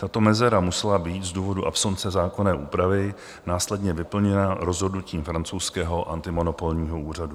Tato mezera musela být z důvodu absence zákonné úpravy následně vyplněna rozhodnutím francouzského antimonopolního úřadu.